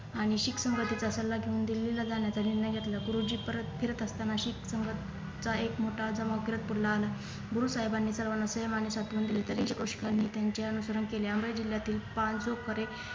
आणि शीख संगतीचा सल्ला घेऊन दिल्लीला जाण्याचा निर्णय घेतला गुरुजी परत फिरत असतांना शीख संगत चा एक मोठा धमकृत पुढला आला गुरु साहेबांनी सर्वांना प्रेम आणि सांत्वन दिले त्याचे अनुसरण केले अमेय जिल्ह्यातील पाणजू करे